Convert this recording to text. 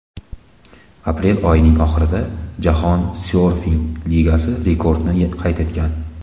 Aprel oyining oxirida Jahon syorfing ligasi rekordni qayd etgan.